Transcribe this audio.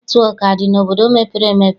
Netịwọk adị n'obodo mepere emepe?